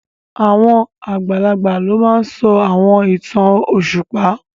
Àwọn àgbàlagbà ló máa n sọ àwọn ìtàn òṣùpá